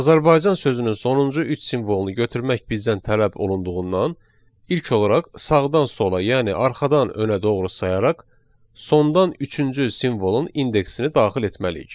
Azərbaycan sözünün sonuncu üç simvolunu götürmək bizdən tələb olunduğundan ilk olaraq sağdan sola, yəni arxadan önə doğru sayaraq, sondan üçüncü simvolun indeksini daxil etməliyik.